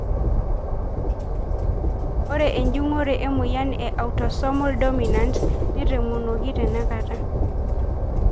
Ore enjungore emoyian e Autosomal dominant netomonuoki tenakata.